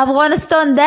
Afg‘onistonda